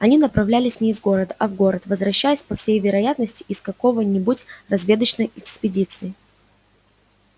они направлялись не из города а в город возвращаясь по всей вероятности из какого-нибудь разведочной экспедиции